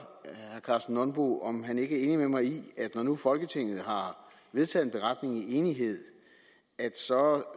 herre karsten nonbo om han ikke er enig med mig i at når nu folketinget har vedtaget en beretning i enighed